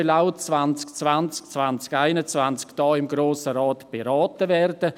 Dieses soll auch 2020/21 hier im Grossen Rat beraten werden.